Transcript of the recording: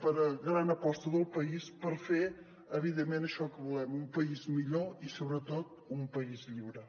per a gran aposta del país per fer evidentment això que volem un país mi·llor i sobretot un país lliure